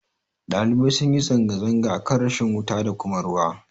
Ɗalibai sunyi zanga-zanga akan rashin wuta da kuma ruwa